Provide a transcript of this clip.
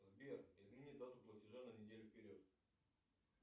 сбер изменить дату платежа на неделю вперед